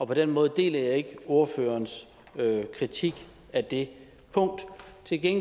på den måde deler jeg ikke ordførerens kritik af det punkt